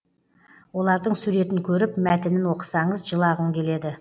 олардың суретін көріп мәтінін оқысаңыз жылағың келеді